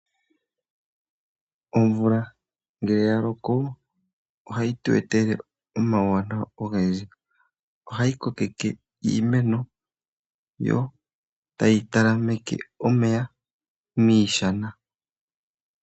Omvula ngele yaloko ohayitu etele omawunawa ogendji, ohayi kokeke iimeno, yo etayi talameke omeya moshana.